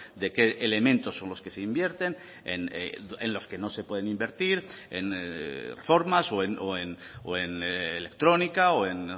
de qué elementos son los que se invierten en los que no se pueden invertir en reformas o en electrónica o en